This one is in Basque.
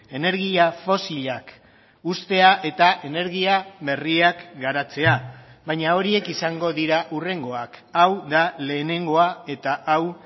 energia fosilak uztea eta energia berriak garatzea baina horiek izango dira hurrengoak hau da lehenengoa eta hau